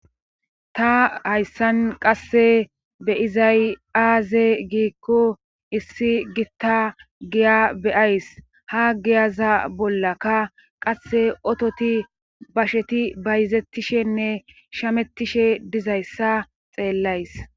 ta hayssan qasse beyizay aaze giikko issi gitta giya beyays ha giyaza bollaka qasse ototi basheti bayzettishenne shamettishe dizayssa xeellays